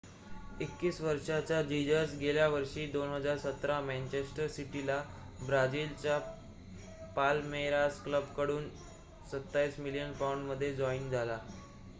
21 वर्षाचा जीजस गेल्या वर्षी 2017 मॅंचेस्टर सिटीला ब्राजीलच्या पाल्मेरास क्लबकडून 27 मिलियन पाउंड मध्ये जॉइन झाला